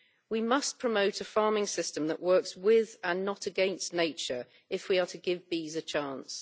We must promote a farming system that works with and not against nature if we are to give bees a chance.